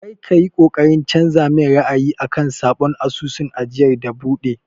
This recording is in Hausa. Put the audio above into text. Kar ka yi ƙoƙarin canza min ra'ayi akan sabon asusun ajiyar da na buɗe!